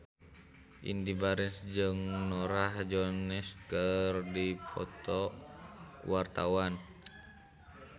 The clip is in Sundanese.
Indy Barens jeung Norah Jones keur dipoto ku wartawan